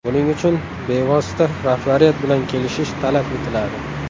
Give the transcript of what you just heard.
Buning uchun bevosita rahbariyat bilan kelishish talab etiladi.